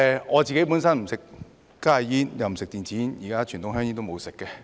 我本身不吸食加熱煙及電子煙，現在連傳統香煙也沒有吸食。